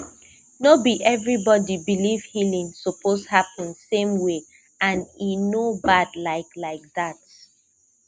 no be everybody believe healing suppose happen same way and e no bad like like that